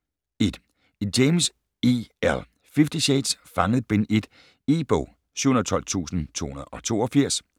1. James, E. L.: Fifty shades: Fanget: Bind 1 E-bog 712282